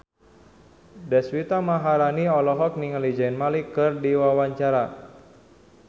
Deswita Maharani olohok ningali Zayn Malik keur diwawancara